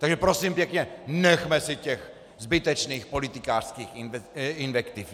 Takže prosím pěkně, nechme si těch zbytečných politikářských invektiv.